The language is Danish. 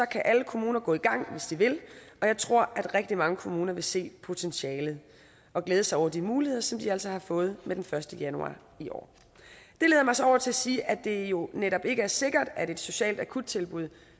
kan alle kommuner gå i gang hvis de vil og jeg tror at rigtig mange kommuner vil se potentialet og glæde sig over de muligheder som de altså har fået fra med den første januar i år det leder mig så over til at sige at det jo netop ikke er sikkert at et socialt akuttilbud